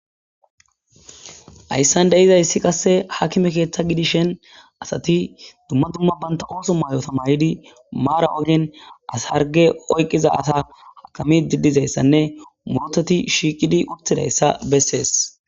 Hayssan de7izayssi qasse akime keeththa gidishin, asati dumma dumma bantta ooso mayota mayidi maara oddin asa harge oyqiza asa akamide dizayssanne otetti shiiqidi utidayssa besees